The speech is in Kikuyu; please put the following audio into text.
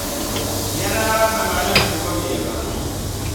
Gĩa na arata marĩ na mĩtugo mĩega.